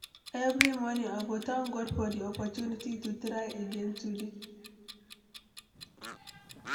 Every morning, I go thank God for di opportunity to try again today.